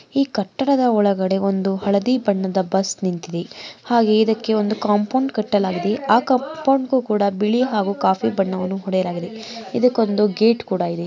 ಈ ಕಟ್ಟಡದ ಒಳಗಡೆ ಒಂದು ಹಳದಿ ಬಣ್ಣದ ಬಸ್ಸು ನಿಂತಿದೆ ಹಾಗೆ ಇದಕ್ಕೆ ಕಾಂಪೌಂಡ್ ಕಟ್ಟಲಾಗಿದೆ. ಕಾಂಪೌಂಡ್ ಗೂ ಕೂಡ ಬಿಳಿ ಮತ್ತು ಕಾಫಿ ಬಣ್ಣವನ್ನು ಹೊಡೆದಿದ್ದಾರೆ ಇದಕ್ಕೊಂದು ಗೇಟ್ ಕೂಡ ಇದೆ.